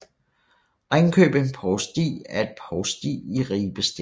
Ringkøbing Provsti er et provsti i Ribe Stift